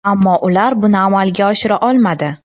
Ammo ular buni amalga oshira olmadi.